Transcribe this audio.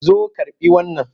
Zo karɓi wannan!